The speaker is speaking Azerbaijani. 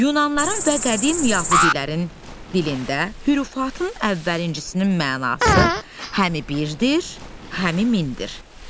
Yunanların və qədim Yəhudilərin dilində hürufatının əvvəlinçisinin mənası həmi birdir, həmi mindir.